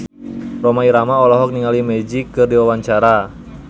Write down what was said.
Rhoma Irama olohok ningali Magic keur diwawancara